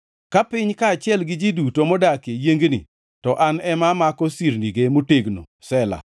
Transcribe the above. Ka piny kaachiel gi ji duto modakie yiengni, to an ema amako sirnige motegno. Sela + 75:3 Sela tiend wachni ok ongʼere.